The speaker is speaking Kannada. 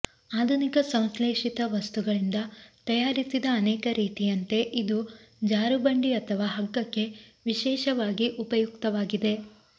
ಆಧುನಿಕ ಸಂಶ್ಲೇಷಿತ ವಸ್ತುಗಳಿಂದ ತಯಾರಿಸಿದ ಅನೇಕ ರೀತಿಯಂತೆ ಇದು ಜಾರುಬಂಡಿ ಅಥವಾ ಹಗ್ಗಕ್ಕೆ ವಿಶೇಷವಾಗಿ ಉಪಯುಕ್ತವಾಗಿದೆ